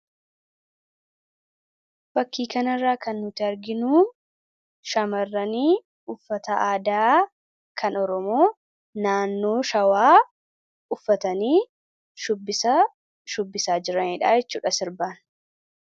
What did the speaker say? Fakii kan irraa kan nuti arginuu shamarran uffata aadaa kan Oromoo naannoo Shawaa uffatanii shubbisa shubbisaa jiraniidhaa jechuudha sirbaan.